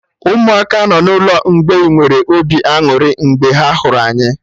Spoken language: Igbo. Ụmụaka nọ n'ụlọ mgbei nwere obi aṅụrị mgbe ha hụrụ anyị